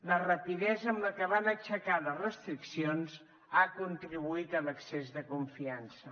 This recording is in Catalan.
la rapidesa amb la que van aixecar les restriccions ha contribuït a l’excés de confiança